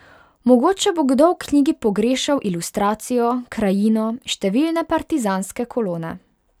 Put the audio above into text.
Mogoče bo kdo v knjigi pogrešal ilustracijo, krajino, številne partizanske kolone.